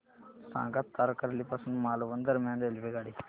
सांगा तारकर्ली पासून मालवण दरम्यान रेल्वेगाडी